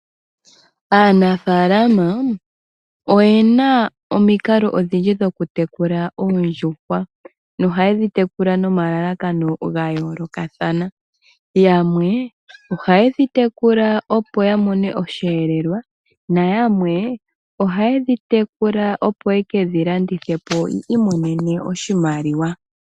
Aanafaalama oyena omikalo odhindji dhokutekula oondjuhwa nohaye dhitekula nomalalakano gayoolokathana yamwe ohaye dhi tekula opo yamone osheelelwa nayamwe ohaye dhi tekula opo yekedhilandithe yoyii imonene oshimaliwa.